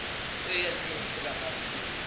তো আর কি